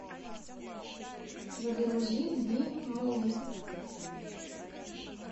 загрузи би муви